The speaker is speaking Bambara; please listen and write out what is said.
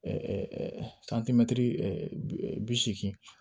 bi seegin